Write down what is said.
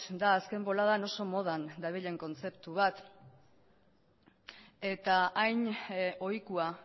da azken boladan oso modan dabilen kontzeptu bat eta hain ohikoa